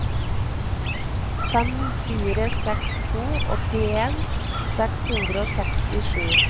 fem fire seks to åttien seks hundre og sekstisju